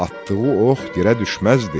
Atdığı ox yerə düşməzdi.